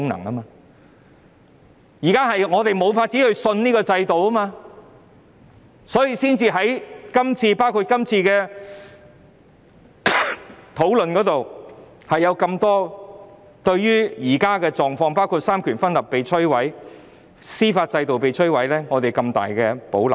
我們現時無法相信這制度，所以才會在這次討論中對於現況，包括三權分立和司法制度被摧毀，表示極大保留。